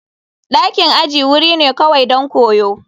Dakin aji wuri ne kawai don koyo.